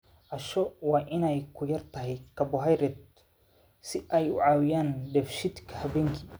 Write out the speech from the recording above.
Casho waa in ay ku yar tahay karbohaydraytyadu si ay u caawiyaan dheefshiidka habeenkii.